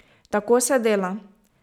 Tako se dela.